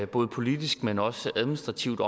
både politisk men også administrativt